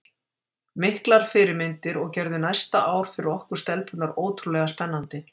Miklar fyrirmyndir og gerðu næsta ár fyrir okkur stelpurnar ótrúlega spennandi.